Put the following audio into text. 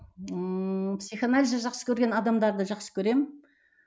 ыыы психоанализді жақсы көрген адамдарды жақсы көремін